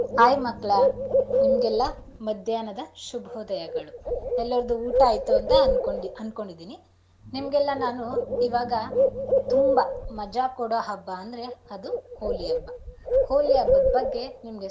Hai ಮಕ್ಳ ನಿಮ್ಗೆಲ್ಲ ಮಧ್ಯಾಹ್ನದ ಶುಭೋದಯಗಳು ಎಲ್ಲಾರ್ದು ಊಟ ಆಯ್ತು ಅನ್ಕೋ~ ಅನ್ಕೊಂಡಿದೀನಿ. ನಿಮ್ಗೆಲ್ಲ ನಾನು ಇವಾಗ ತುಂಬಾ ಮಜಾ ಕೊಡೋ ಹಬ್ಬ ಅಂದ್ರೆ ಅದು ಹೋಳಿ ಹಬ್ಬ. ಹೋಳಿ ಹಬ್ಬದ್ ಬಗ್ಗೆ ನಿಮ್ಗೆ.